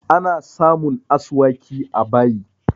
Ana samun asuwaki a bayi